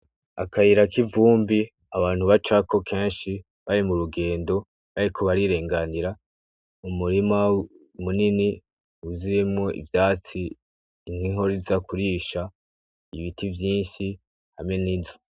Akayirako ivumbi abantu ba cako kenshi bari mu rugendo bariku barirenganira umurima umunini uzuyemo ivyatsi nkihoriza kurisha ibiti vyinshi hame n'ize.